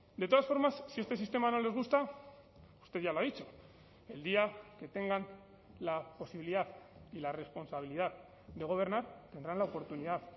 de todas formas si este sistema no les gusta usted ya lo ha dicho el día que tengan la posibilidad y la responsabilidad de gobernar tendrán la oportunidad